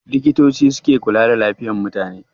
Likitoci ke kula da lafiyar mutane.